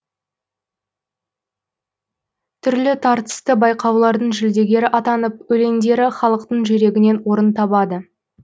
түрлі тартысты байқаулардың жүлдегері атанып өлеңдері халықтың жүрегінен орын табады